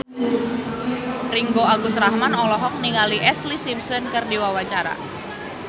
Ringgo Agus Rahman olohok ningali Ashlee Simpson keur diwawancara